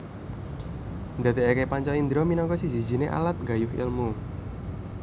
Ndadekake panca indra minangka siji sijine alat nggayuh ilmu